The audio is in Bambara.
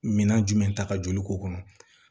Minan jumɛn ta ka joli k'o kɔnɔ